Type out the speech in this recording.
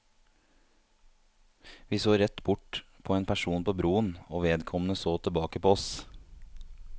Vi så rett bort på en person på broen, og vedkommende så tilbake på oss.